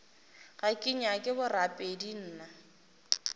ga ke nyake borapedi nna